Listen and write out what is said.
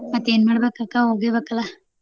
ಮತ್ತೇನ್ ಮಾಡ್ಬೇಕ ಅಕ್ಕಾ ಹೋಗಬೇಕಲ್ಲಾ.